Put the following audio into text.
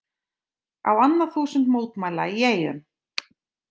Á annað þúsund mótmæla í Eyjum